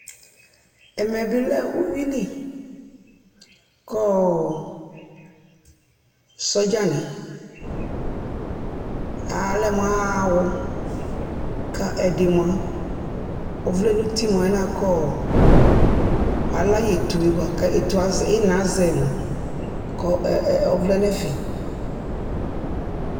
Ɛmɛ bɩ lɛ uyui li kɔɔ sɔdzanɩ, alɛ mʋ aɣa aɣɔ, kʋ ɛdɩ mʋa, ɔvlɛ nʋ uti mʋ alɛna yɛ kɔɔ ala yɩ etu yɛ bʋa kʋ ɩna azɛ mʋa, kʋ ɔvlɛ nʋ ɛfɛ